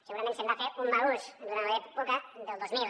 segurament se’n va fer un mal ús durant l’època del dos mil